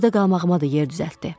Orda qalmağıma da yer düzəltdi.